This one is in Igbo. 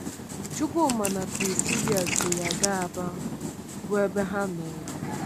Chukwuma na Prisilia so ya gaa Aba, bụ́ ebe ha nọrọ.